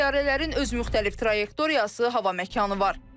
Təyyarələrin öz müxtəlif trayektoriyası, hava məkanı var.